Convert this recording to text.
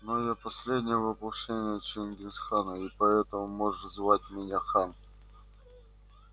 но я последнее воплощение чингис хана и поэтому можешь звать меня хан